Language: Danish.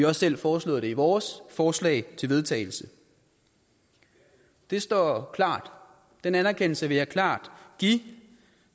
også selv foreslået det i vores forslag til vedtagelse det står klart den anerkendelse vil jeg klart give